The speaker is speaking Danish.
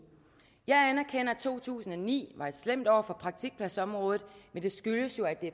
jeg anerkender at to tusind og ni var et slemt år for praktikpladsområdet men det skyldes jo